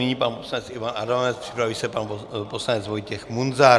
Nyní pan poslanec Ivan Adamec, připraví se pan poslanec Vojtěch Munzar.